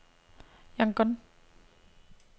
Yangon